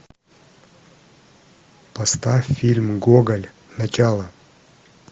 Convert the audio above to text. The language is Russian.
поставь фильм гоголь начало